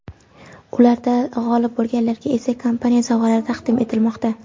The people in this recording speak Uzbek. Ularda g‘olib bo‘lganlarga esa kompaniya sovg‘alari taqdim etilmoqda.